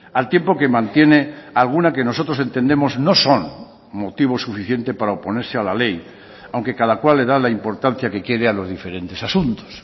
al tiempo que mantiene alguna que nosotros entendemos no son motivo suficiente para oponerse a la ley aunque cada cual le da la importancia que quiere a los diferentes asuntos